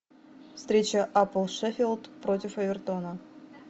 встреча апл шеффилд против эвертона